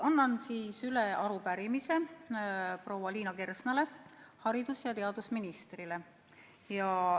Annan üle arupärimise proua Liina Kersnale, haridus- ja teadusministrile.